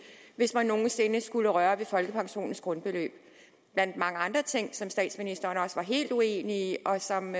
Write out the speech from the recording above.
hvis man nogen sinde skulle røre ved folkepensionens grundbeløb blandt mange andre ting som statsministeren også var helt uenig i og som